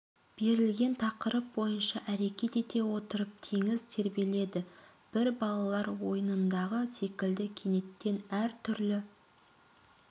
берілген тақырып бойынша әрекет ете отырып теңіз тербеледі бір балалар ойынындағы секілді кенеттен әр түрлі